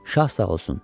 Şah sağ olsun!